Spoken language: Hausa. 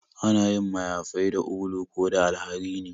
Ana yin mayafai da ulu ko da alharini